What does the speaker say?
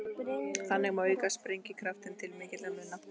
Þannig má auka sprengikraftinn til mikilla muna.